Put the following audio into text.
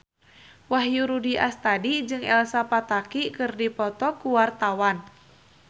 Wahyu Rudi Astadi jeung Elsa Pataky keur dipoto ku wartawan